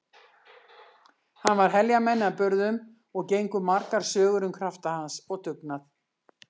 Hann var heljarmenni að burðum og gengu margar sögur um krafta hans og dugnað.